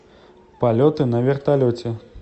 полеты на вертолете